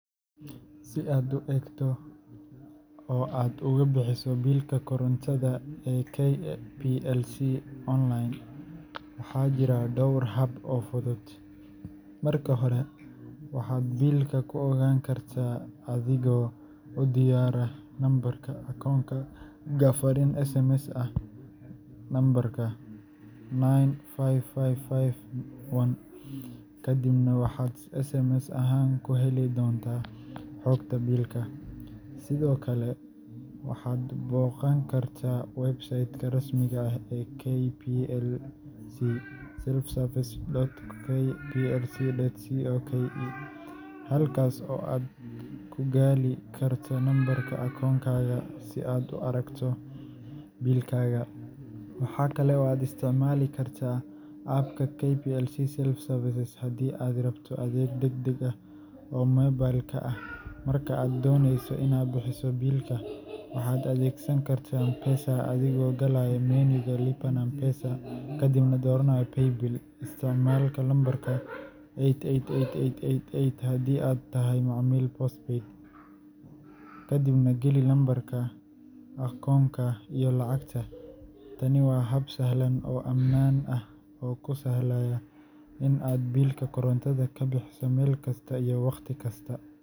Si aad u eegto oo aad uga bixiso biilka korontada ee KPLC onlayn, waxaa jira dhowr hab oo fudud. Marka hore, waxaad biilka ku ogaan kartaa adigoo u diraya lambarka akoonkaaga fariin SMS ah lambarka 95551, kadibna waxaad SMS ahaan ku heli doontaa xogta biilka. Sidoo kale, waxaad booqan kartaa website-ka rasmiga ah ee KPLC selfservice.kplc.co.ke halkaas oo aad ku gali karto lambarka akoonkaaga si aad u aragto biilkaaga. Waxa kale oo aad isticmaali kartaa App-ka KPLC Self-Service haddii aad rabto adeeg degdeg ah oo mobile-ka ah. Marka aad dooneyso inaad bixiso biilka, waxaad adeegsan kartaa M-Pesa adigoo galaya menu-ga Lipa na M-Pesa,” kadibna dooranaya “ Paybill.” Isticmaal lambarka 888888 (haddii aad tahay macmiil postpaid) ama 888880 haddii aad isticmaasho prepaid tokens, kadibna geli lambarka akoonka iyo lacagta. Tani waa hab sahlan oo ammaan ah oo kuu sahlaya in aad biilka korontada ka bixiso meel kasta iyo waqti kasta.